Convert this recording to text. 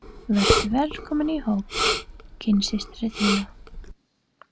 Vertu velkomin í hóp kynsystra þinna.